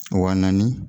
Wa naani